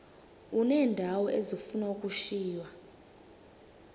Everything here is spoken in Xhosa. uneendawo ezifuna ukushiywa